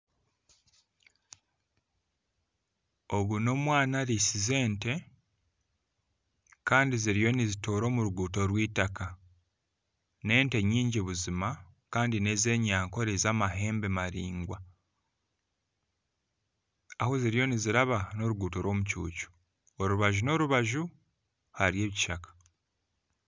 Ogu nomwana arisize ente Kandi ziriyo nizitoora omu ruguuto rwitaka nente nyingi buzima Kandi nezenyankore zamahembe maraingwa ahu ziriyo niziraba noruguuto rw'omucucu orubaju norubaju hariyo ekishaka